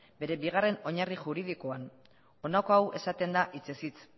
bere bigarren oinarri juridikoan honako hau esaten da hitzez hitz